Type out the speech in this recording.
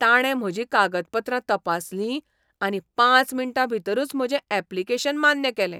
ताणें म्हजीं कागदपत्रां तपासलीं आनी पांच मिण्टाभितरूच म्हजें ऍप्लिकेशन मान्य केलें.